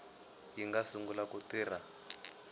yi nga sungula ku tirha